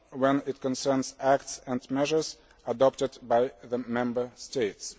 when it concerns acts and measures adopted by the Member States.